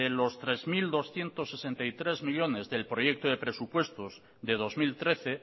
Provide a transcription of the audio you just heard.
los tres mil doscientos sesenta y tres millónes del proyecto de presupuestos de dos mil trece